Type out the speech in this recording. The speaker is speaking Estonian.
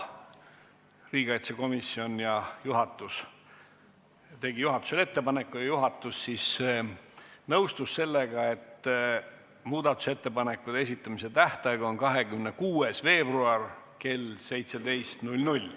Riigikaitsekomisjon tegi juhatusele ettepaneku ja juhatus nõustus sellega, et muudatusettepanekute esitamise tähtaeg on 26. veebruar kell 17.00.